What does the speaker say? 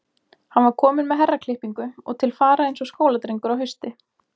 Hann var kominn með herraklippingu og til fara eins og skóladrengur á hausti.